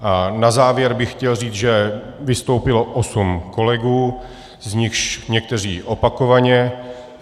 Na závěr bych chtěl říct, že vystoupilo osm kolegů, z nichž někteří opakovaně.